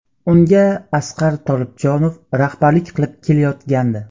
Unga Asqar Tolibjonov rahbarlik qilib kelayotgandi.